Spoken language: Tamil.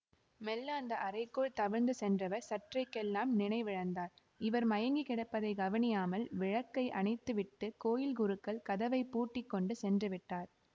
மெல்ல அந்த அறைக்குள் தவழ்ந்து சென்றவர் சற்றைக்கெல்லாம் நினைவிழந்தார் இவர் மயங்கி கிடப்பதை கவனியாமல் விளக்கை அணைத்துவிட்டு கோயில் குருக்கள் கதவை பூட்டி கொண்டு சென்றுவிட்டார்